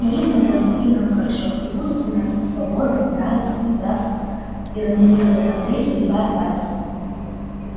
и им на пользу и нам хорошо и будут у нас свобода и равенство и братство иронизировал андрей загибая пальцы